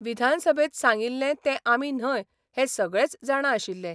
विधानसभेत सांगिल्ले ते आमी न्हय हे सगळेच जाणा आशिल्ले.